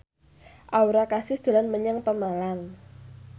Aura Kasih dolan menyang Pemalang